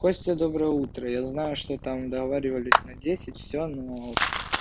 костя доброе утро я знаю что там договаривались на десять всё но